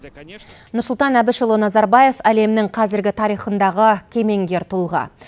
нұрсұлтан әбішұлы назарбаев әлемнің қазіргі тарихындағы кемеңгер тұлға